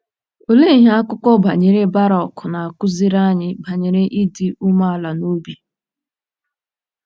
Olee ihe akụkọ banyere Barụk na-akụziri anyị banyere ịdị umeala n'obi?